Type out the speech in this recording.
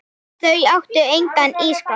Þau áttu engan ísskáp.